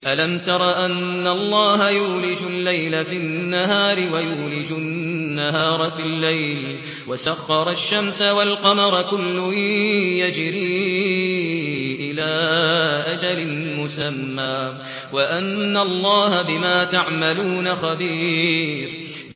أَلَمْ تَرَ أَنَّ اللَّهَ يُولِجُ اللَّيْلَ فِي النَّهَارِ وَيُولِجُ النَّهَارَ فِي اللَّيْلِ وَسَخَّرَ الشَّمْسَ وَالْقَمَرَ كُلٌّ يَجْرِي إِلَىٰ أَجَلٍ مُّسَمًّى وَأَنَّ اللَّهَ بِمَا تَعْمَلُونَ خَبِيرٌ